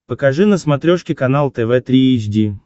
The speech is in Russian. покажи на смотрешке канал тв три эйч ди